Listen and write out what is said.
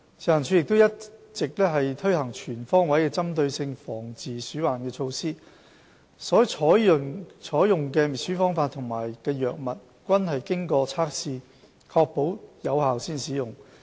食環署一直推行全方位的針對性防治鼠患措施，所採用的滅鼠方法和藥物均經過測試以確保有效才使用。